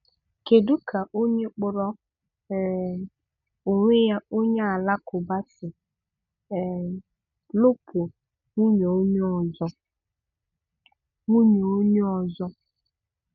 Kedụ ka onye kpọrọ um onwe ya onye Alakụba si um lụ́pụ nwunye onye ọzọ? nwunye onye ọzọ?